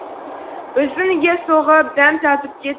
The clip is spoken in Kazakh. біздің үйге соғып дәм татып кет